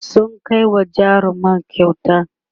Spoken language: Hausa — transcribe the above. sun Kai wa jarumar kyauta